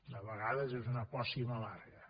de vegades és una pòcima amarga